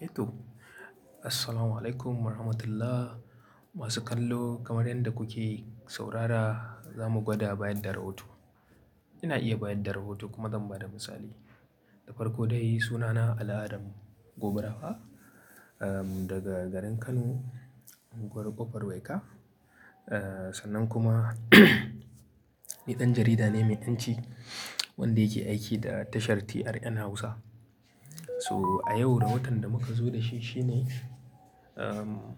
Eh to. Assalamualaikum warahmatullah. Masu kallo kamar yadda kuke saurara, zamu gwada bayar da rahoton. Ina iya bayar da rahoton kuma zan ba da misali. Na farko dai, sunana Ali Adam Gobirawa, daga garin Kano, unguwar kofar Waika. Sannan kuma niɗan jarida ne mai ƴan ci wanda yake aiki da tashar TRN Hausa. So a yau, rahoton da muka zo da shi shine, um,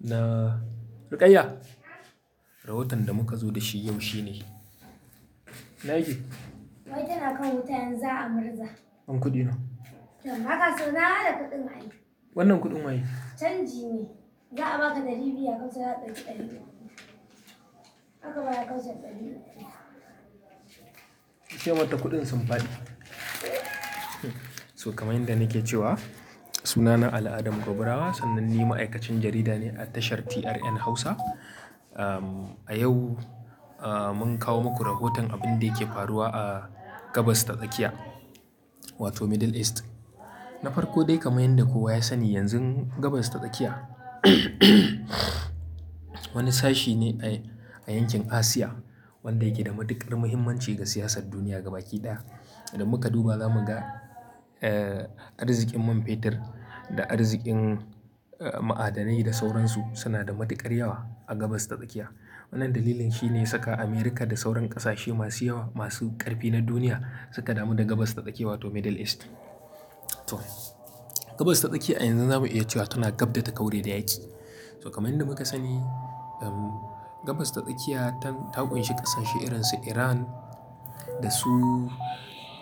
na-- Rukayya, rahoton da muka zo da shi yau shine. Nagy? Wai tana kawo wuta yanzu za a murza. Ban kuɗi na. Haka so na, haka da kuɗin a yi. Wannan kuɗin wa yake? Canji ne. Za a baka ɗari biyu, ya kausa ya ɗauki ɗari biyu. Haka baya kausa ɗari biyu. Ki kai mata kuɗin sun fadi. So kamar yadda nake cewa, sunana Al Adam Gobirawa, sannan ni ma'aikacin jarida ne a tashar TRN Hausa. Um, a yau, uh, mun kawo muku rahoton abin da yake faruwa a Gabas ta Tsakiya wato Middle East. Na farko dai kamar yadda kowa ya sani yanzu Gabas ta Tsakiya wani sashi ne a yankin Asia wanda yake da matuƙar muhimmanci ga siyasar duniya gaba ɗaya. Da muka duba zamu ga, eh, arzikin man fetur da arzikin, uh, ma'adanai da sauransu suna da matuƙar yawa a Gabas ta Tsakiya. Wannan dalilin shine saka Amurka da sauran ƙasashe masu yawa masu ƙarfi na duniya suka damu da Gabas ta Tsakiya wato Middle East. To, Gabas ta Tsakiya a yanzu zamu iya cewa tana gabda ta kaure da yaƙi. So kamar yadda muka sani, um, Gabas ta Tsakiya ta kunshi ƙasashe irin su Iran da su,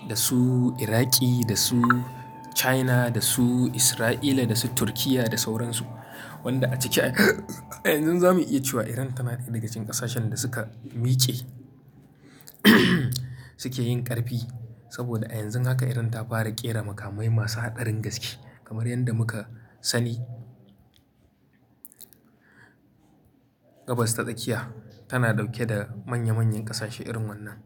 da su Iraqi, da su China, da su Isra'ila, da su Turkiyya da sauransu. Wanda a ciki a yanzu zamu iya cewa Iran tana ɗaya daga cikin ƙasashen da suka miƙe suke yin ƙarfi. Saboda a yanzu haka Iran ta fara ƙera makamai masu haɗarin gaske kamar yadda muka sani. Gabas ta Tsakiya tana ɗauke da manya manyan ƙasashe irin wannan.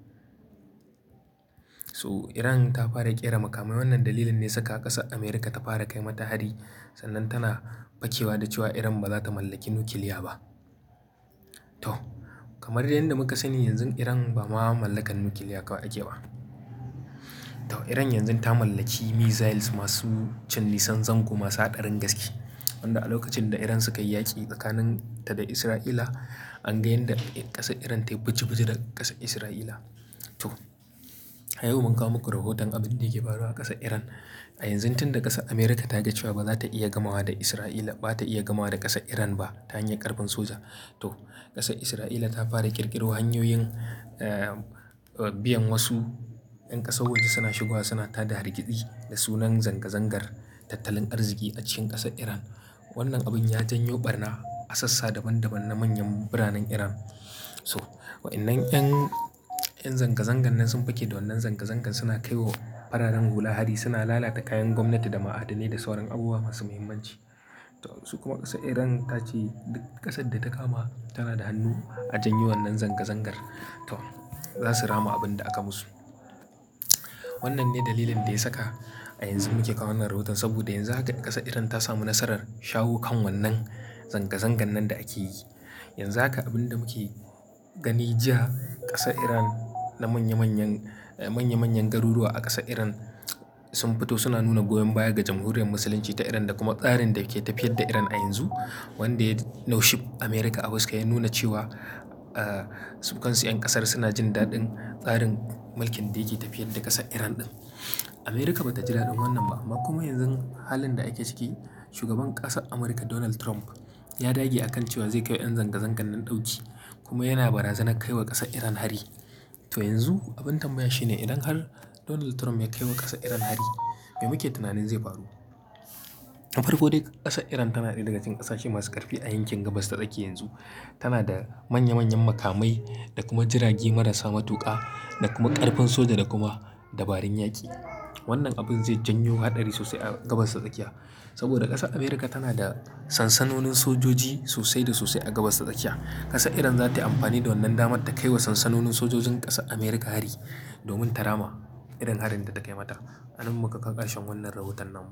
So Iran ta fara ƙera makamai. Wannan dalilin ne saka ƙasar Amurka ta fara kai mata hari sannan tana fakewa da cewa Iran ba za ta mallaki nukiliya ba. To, kamar yadda muka sani yanzu Iran ba ma mallakar nukiliya ake ba. To Iran yanzu ta mallaki missiles masu cin nisan zango masu haɗarin gaske. Wanda a lokacin da Iran suka yi yaƙi tsakanin ta da Isra'ila, an ga yanda ƙasar Iran ta yi buji-buji da ƙasar Isra'ila. To, a yau mun kawo muku rahoton abin da yake faruwa a ƙasar Iran. A yanzu tin da ƙasar Amurka ta ji cewa ba za ta iya gamawa da Isra'ila, ba ta iya gamawa da ƙasar Iran ba ta hanyar ƙarfin soja. To, ƙasar Isra'ila ta fara ƙirƙiro hanyoyin, eh, biyan wasu ƴan ƙasar waje suna shigowa suna tada hargitsi da sunan zanga-zangar tattalin arziki a cikin ƙasar Iran. Wannan abin ya janyo ɓarna a sassa daban-daban na manyan biranen Iran. So waɗannan ƴan, ƴan zanga-zangan nan sun fake da wannan zanga-zangan suna kaiwa fararen hula hari suna lalata kayan gwamnati da ma'adanai da sauran abubuwa masu muhimmanci. To su kuma ƙasar Iran ta ce duk ƙasar da ta kama tana da hannu a janyo wannan zanga-zangar. To za su rama abin da aka musu. Wannan ne dalilin da ya saka a yanzu muke kawo wannan rahoton saboda yanzu haka ƙasar Iran ta samu nasarar shaho kan wannan zanga-zangan nan da ake yi. Yanzu haka abin da muke gani jiya ƙasar Iran na manya manyan, manya manyan garuruwa a ƙasar Iran sun fito suna nuna goyon baya ga jamhuriyar Musulunci ta Iran da kuma tsarin da ke tafiyar da Iran a yanzu. Wanda naushi Amurka a wasu kai ya nuna cewa, eh, sukansu ƴan ƙasar suna jin daɗin tsarin mulkin da yake tafiyar da ƙasar Iran ɗin. Amurka ba ta ji daɗin wannan ba kuma yanzu halin da ake ciki shugaban ƙasar Amurka Donald Trump ya dage a kan cewa zai kai wa ƴan zanga-zangan nan ɗauki kuma yana barazana kai wa ƙasar Iran hari. To yanzu abin tambaya shine idan har Donald Trump ya kai wa ƙasar Iran hari me muke tunanin zai faru? Na farko dai ƙasar Iran tana ɗaya daga cikin ƙasashe masu ƙarfi a yankin Gabas ta Tsakiya yanzu. Tana da manya manyan makamai da kuma jirage marasa matuƙa da kuma ƙarfin soja da kuma dabarun yaƙi. Wannan abin zai janyo haɗari sosai a Gabas ta Tsakiya saboda ƙasar Amurka tana da sansanonin sojoji sosai da sosai a Gabas ta Tsakiya. Ƙasar Iran za ta yi amfani da wannan dama ta kai wa sansanonin sojojin ƙasar Amurka hari domin ta rama irin harin da ta kai mata. Anan muka kawo karshen wannan rahoton nan mu.